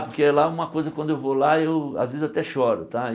Porque lá, uma coisa, quando eu vou lá, eu às vezes eu até choro tá e.